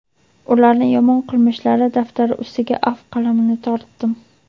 ularni yomon qilmishlari daftari ustiga afv qalamini tortdim.